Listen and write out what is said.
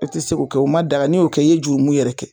E tɛ se k'o kɛ o ma daga n'i y'o kɛ, i ye jurumu yɛrɛ kɛ.